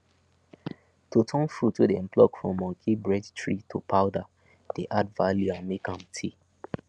to turn fruit wey dem pluck from monkey bread tree to powder dey add value and make am tey